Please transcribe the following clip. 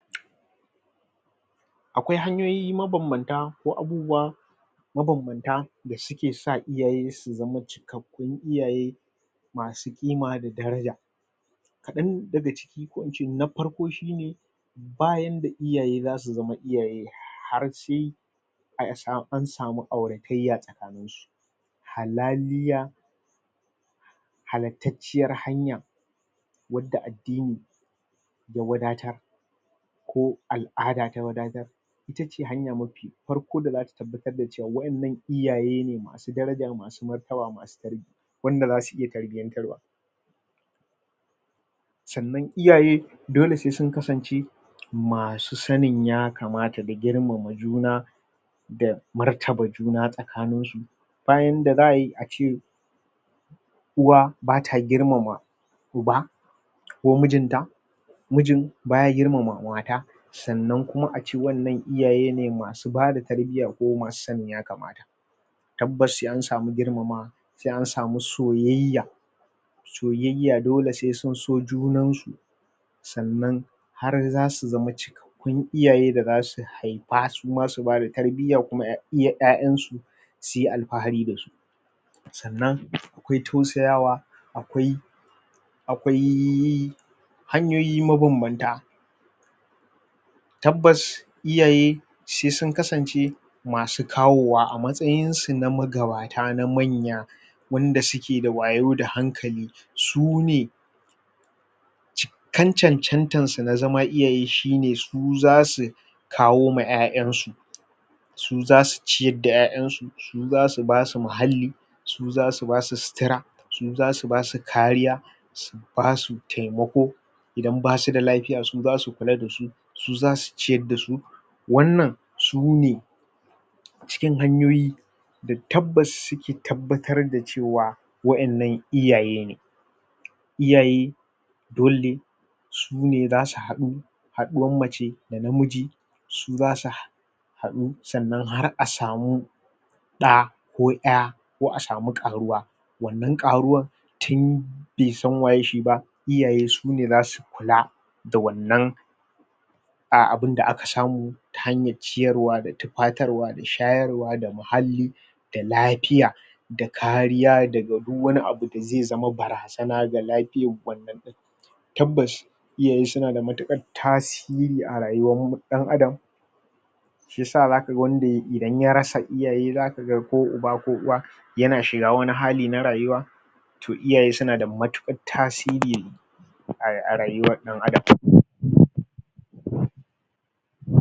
akwai hanyoyi mabambanta ko abubuwa mabambanta da suke sa iyaye su zama cikakkun iyaye masu ƙima da daraja kaɗan daga ko ince na farko shine bayanda iyaye zasu zama iyaye har sai an samu aurataiya halaliya halatacciyar hanya wadda addini ya wadatar ko al'ada ta wadatar itace hanya mafi farko da zata tabbatar da cewa wadannan iyaye ne masu daraja masu martaba masu tarbiya wanda zasu iya tarbiyantar wa sannan iyaye dole sai sun kasan ce masu sanin ya kamata da girmama juna da martaba juna tsakanin su bayanda za ayi ace uwa bata girmama uba ko mijin ta mijin baya girmama mata sannan kuma ace wannan iyaye ne masu masu bada tarbiya ko masu sanin ya kamata tabbas sai an samu girmama sai an samu soyayya soyayya dole sai sun so junan su sannan har zasu zama cikakkun iyaye da zasu karɓa suma su bada tarbiya kuma ya iya ƴa'ƴan su suyi alfahari dasu sannan akwai tausayawa akwai akwai hanyoyi mabambanta tabbas iyaye sai sun kasance masu kawowa a matsayinsu na magabata magabata na manya wanda suke da wayo da hankali su ne kan chanchantar su na zama iyaye shine su zasu kawo ma ƴa'ƴan su su zasu ciyar da ƴa'ƴan su su zasu basu muhalli su zasu basu sutura su zasu basu kariya su basu taimako idan basu da lafiya su zasu kula da su su zasu ciyar dasu wannan su ne cikin hanyoyi da tabbas suke tabbatar da cewa waƴannan iyaye ne iyaye dole ne su ne zasu haɗu haɗuwar mace da namiji su basu hada haɗu sannan har a samu ɗa ko ƴa ko asamu ƙaruwa wannan ƙaruwar tun bai san waye shi ba iyaye sune zasu kula da wannan abinda aka samu ta hanyar ciyarwa da tufatarwa da shayarwa da muhalli da lafiya da kariya daga duk wani abu da zaizama barazana ga lafiyar wannan tabbas iyaye suna da matukar tasiri a rayuwar mu ɗan adam shiyasa zakaga wani da idan ya rasa iyaye zakaga ko uba ko uwa yana shiga wani hali na rayuwa toh iyaye suna da matukar tasiri a rayuwar ɗan adam???